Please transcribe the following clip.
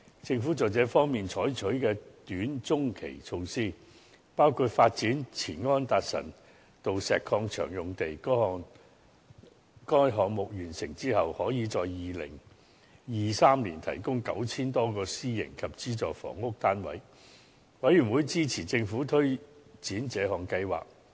政府在這方面採取的短/中期措施，包括發展前安達臣道石礦場用地，該項目完成之後，可以在2023年提供 9,000 多個私營及資助房屋單位，事務委員會支持政府推展這項計劃。